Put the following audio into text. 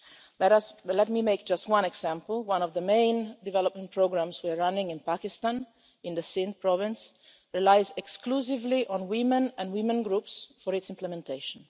Let me give just one example one of the main development programmes we are running in Pakistan, in the Sindh province, relies exclusively on women and women groups for its implementation.